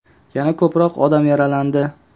Yana ko‘proq odam yaralandi.